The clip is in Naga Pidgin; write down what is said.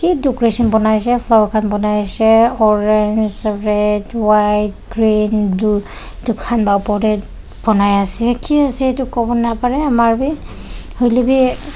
decoration banaishey flower khan banai Shay orange red white green blue edu khan la opor tae banai ase ki ase toh kowo naparae amar bi hoilaebi--